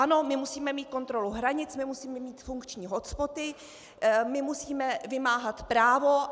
Ano, my musíme mít kontrolu hranic, my musíme mít funkční hotspoty, my musíme vymáhat právo.